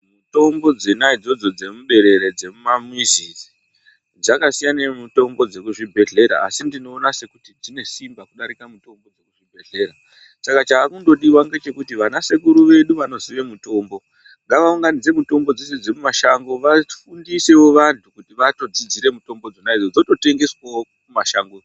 Mitombo dzona idzodzo dzemuberere dzemumamizi idzi dzakasiyana nemitombo yekuzvimbehlera asi ndinoona sekuti dzine simba kudarike mitombo yekuchibhehlera, saka chaakundodiwa ngechekuti vanasekuru vedu vanoziye mitombo ngavaunganidze mitombo dzeshe dzemumashango vafundisewo vanhu kuti vanodzidzire mitombo dzona idzodzo dzonotengeswawo mumashangomwo.